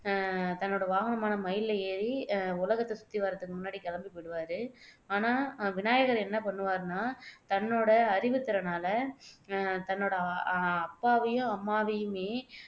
அஹ் தன்னோட வாகனமான மயில்ல ஏறி உலகத்தை சுத்தி வர்றதுக்கு முன்னாடி கிளம்பி போயிடுவாரு ஆனா விநாயகர் என்ன பண்ணுவாருன்னா தன்னோட அறிவுத்திறனால அஹ் தன்னோட அஹ் அப்பாவையும் அம்மாவையுமே